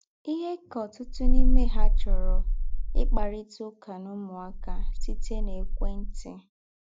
Íhè kà ọ̀tụ̀tụ̀ n’ímè há chọ̀rọ̀ íkparítà ứká nà ứmụ́áká sị́tẹ́ n’èkwẹ́ntì.